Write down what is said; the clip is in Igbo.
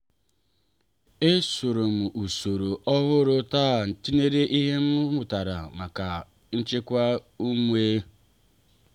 esorom usoro ọhụụ taa tinyere ihe m mụtara maka ịchịkwa ume.